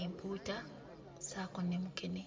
empuuta ssaako ne mukene.